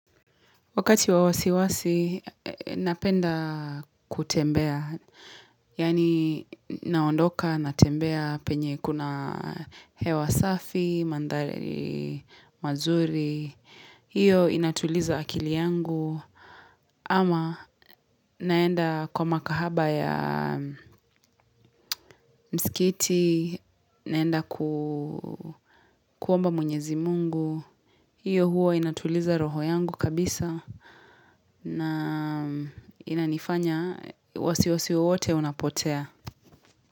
Wakati wa wasiwasi, napenda kutembea, yaani naondoka, natembea penye kuna hewa safi, mandhari mazuri. Hiyo inatuliza akili yangu, ama naenda kwa makahaba ya msikiti, naenda kuomba mwenyezi mungu. Hiyo huo inatuliza roho yangu kabisa na inanifanya wasi wasi wowote unapotea.